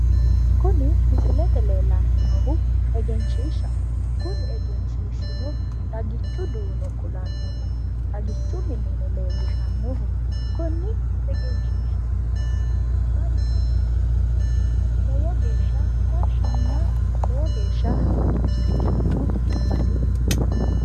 Kuni misilete leellanni noohu egenshiishshaho. Kuni egenshiishshino xagichu duuno kulannoho. Xagichu mineno leellishannoho. Konni egenshiishshira laoommari kayinni lowo geeshsha tashshinna lowo geeshsha hagiirsiisanno baseeti.